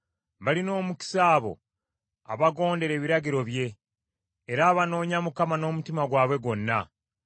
Balina omukisa abo abagondera ebiragiro bye, era abanoonya Mukama n’omutima gwabwe gwonna.